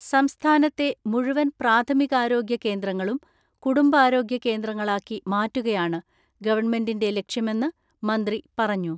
സംസ്ഥാനത്തെ മുഴുവൻ പ്രാഥമികാരോഗ്യ കേന്ദ്രങ്ങളും കുടുംബാരോഗ്യ കേന്ദ്രങ്ങളാക്കി മാറ്റുകയാണ് ഗവൺമെന്റിന്റെ ലക്ഷ്യമെന്ന് മന്ത്രി പറഞ്ഞു.